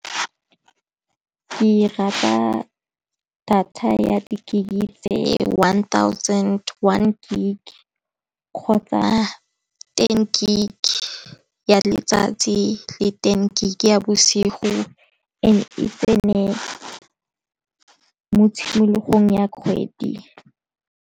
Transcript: Ke rata data ya di-gig tse one thousand one gig kgotsa ten gig ke ya letsatsi le ten gig ya bosigo, and e tseneng mo tshimologong ya kgwedi.